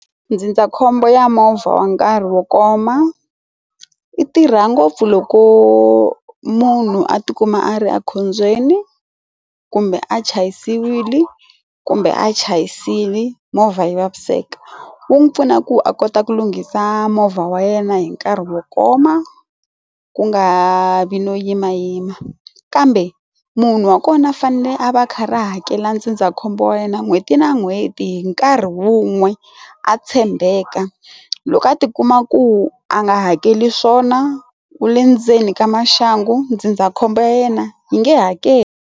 Ndzindzakhombo ya movha wa nkarhi wo koma i tirha ngopfu loko munhu a ti kuma a ri ekhombyeni kumbe a chayisiwile kumbe a chayisile movha yi vaviseka wu n'wi pfuna ku a kota ku lunghisa movha wa yena hi nkarhi wo koma ku nga vi no yimayima kambe munhu wa kona a fanele a va kha ri hakela makhombo wa yena n'hweti na n'hweti hi nkarhi wun'we a tshembeka loko a ti kuma ku a nga hakeli swona wa le ndzeni ka maxangu ndzindzakhombo ya yena yi nge hakeli.